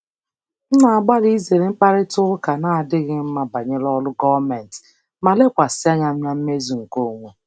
M na-agbalị izere mkparịta ụka na-adịghị mma banyere ọrụ gọọmentị ma lekwasị anya na mmezu nke onwe.